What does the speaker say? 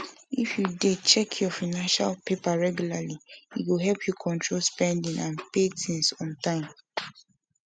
if you dey check your financial paper regularly e go help you control spending and pay things on time